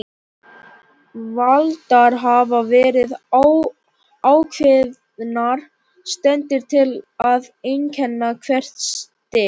Valdar hafa verið ákveðnar steindir til að einkenna hvert stig.